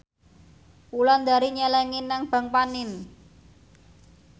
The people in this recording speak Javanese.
Wulandari nyelengi nang bank panin